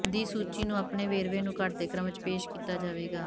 ਦੀ ਸੂਚੀ ਨੂੰ ਆਪਣੇ ਵੇਰਵੇ ਨੂੰ ਘੱਟਦੇ ਕ੍ਰਮ ਵਿੱਚ ਪੇਸ਼ ਕੀਤਾ ਜਾਵੇਗਾ